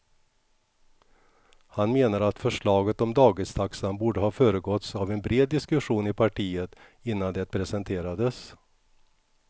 Han menar att förslaget om dagistaxan borde ha föregåtts av en bred diskussion i partiet innan det presenterades.